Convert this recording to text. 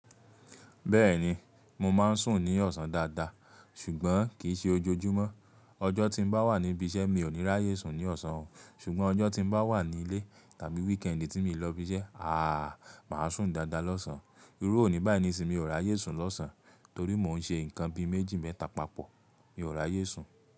Bẹ́ẹ̀ni, mo máa ń sùn ní ọ̀sán dáadáa, ṣùgbọ́n kì í ṣe ojoojúmọ́. Ọjọ́ tí mo bá wà níbi iṣẹ́, mi ò ní ráyè sùn ní ọ̀sán, ṣùgbọ́n ọjọ́ tí mo bá wà nílé tàbí weekend tí mi i lọ ibi iṣẹ́, àáà, màá sùn dáadáa lọ́sàn-án. Irú òní báyìí ni sì mi ò rà á yé sùn lọ́sàn-án, torí mo ń ṣe nǹkan bi méjì mẹ́ta papọ̀, mi ò rà á yé sùn.